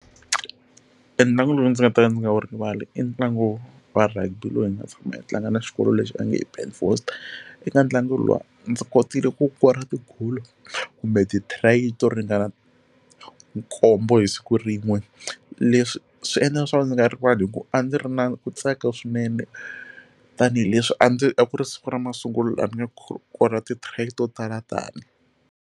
E ntlangu lowu ndzi nga ta ka ndzi nga wu rivala i ntlangu wa rugby lowu hi nga tshama yi tlanga na xikolo lexi va nge i Ben Foster eka ntlangu lowu ndzi kotile ku kora tigolo kumbe ti try to ringana khombo hi siku rin'we leswi swi endla leswaku ni nga rivali hikuva a ndzi ri na ku tsaka swinene tanihileswi a ndzi a ku ri siku ra masungulo la ni nge kora ti try to tala tani.